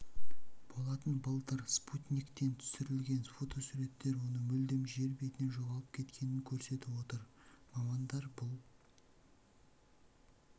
болатын былтыр спутниктен түсірілген фотосуреттер оның мүлдем жер бетінен жоғалып кеткенін көрсетіп отыр мамандар бұл